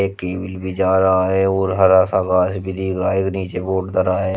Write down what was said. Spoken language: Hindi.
केबल भी जा रहा है और हरा सा घास भी एक नीचे बोर्ड धरा है।